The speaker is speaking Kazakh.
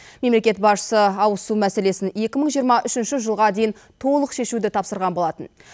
мемлекет басшысы ауызсу мәселесін екі мың жиырма үшінші жылға дейін толық шешуді тапсырған болатын